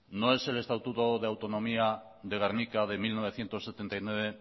no es el estatuto de autonomía de gernika de mil novecientos setenta y nueve